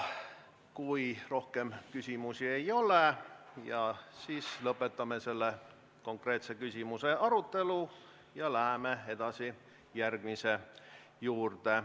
Kui rohkem küsimusi ei ole, siis lõpetame selle konkreetse küsimuse arutelu ja läheme edasi järgmise juurde.